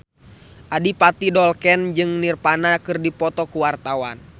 Adipati Dolken jeung Nirvana keur dipoto ku wartawan